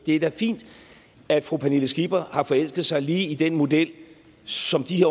er da fint at fru pernille skipper har forelsket sig lige i den model som de